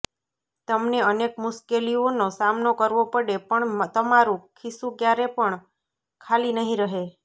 તમને અનેક મુશેકેલીઓનો સામનો કરવો પડે પણ તમારું ખિસ્સુ ક્યારે પણ ખાલી નહી રહે